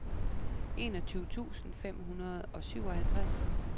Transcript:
enogtyve tusind fem hundrede og syvoghalvtreds